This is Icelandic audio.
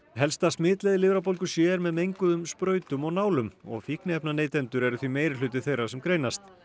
helsta smitleið lifrarbólgu c er með menguðum sprautum og nálum fíkniefnaneytendur eru því meirihluti þeirra sem greinast